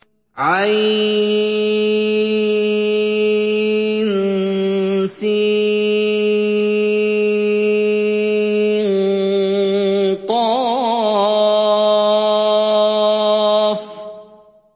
عسق